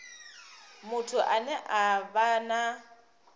muthu ane a vha na